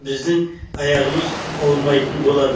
біздің аяғымыз ауырмайтын болады